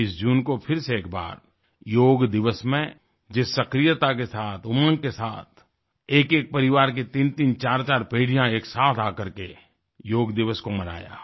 21 जून को फिर से एक बार योग दिवस में जिस सक्रियता के साथ उमंग के साथ एकएक परिवार के तीनतीन चारचार पीढ़ियाँएक साथ आ करके योग दिवस को मनाया